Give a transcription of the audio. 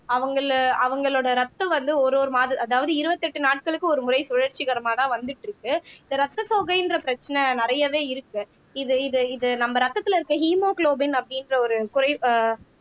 அவங்களை அவங்களோட ரத்தம் வந்து ஒரு ஒரு மாத அதாவது இருபத்தி எட்டு நாட்களுக்கு ஒருமுறை சுழற்சிகரமாதான் வந்துட்டு இருக்கு இந்த ரத்த சோகைன்ற பிரச்சனை நிறையவே இருக்கு இது இது இது நம்ம ரத்தத்துல இருக்க ஹீமோகுளோபின் அப்படின்ற ஒரு குறை ஆஹ்